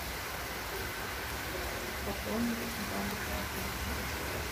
пополнить бабушкин телефон